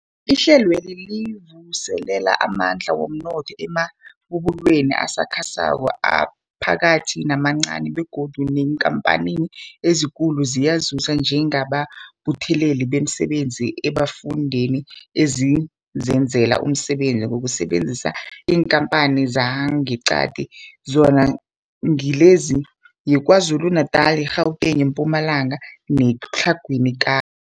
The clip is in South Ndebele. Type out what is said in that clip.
Ihlelweli livuselela amandla womnotho emabubulweni asakhasako, aphakathi namancani begodu neenkhamphani ezikulu ziyazuza njengabethuli bemisebenzi eemfundeni ezizenzela umsebenzi ngokusebenzisa iinkhamphani zangeqadi, zona ngilezi, yiKwaZulu-Natala, i-Gauteng, iMpumalanga neTlhagwini Ka